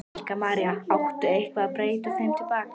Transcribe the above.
Helga María: Á eitthvað að breyta þeim til baka?